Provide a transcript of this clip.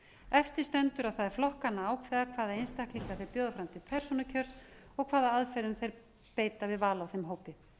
eftir stendur að það er flokkanna að ákveða hvaða einstaklinga þeir bjóða fram til persónukjörs og hvaða aðferðum þeir beita við val á þeim hópi